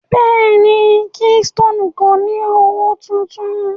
Bẹ́ẹ̀ni, Keystoni kò ni ọwọ́ tuntun.